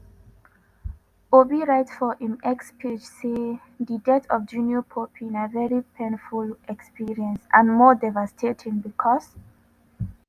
obi write for im x page say di death of junior pope na very painful experience and more devastating becos